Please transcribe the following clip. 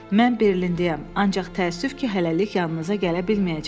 Mən Berlindəyəm, ancaq təəssüf ki, hələlik yanınıza gələ bilməyəcəm.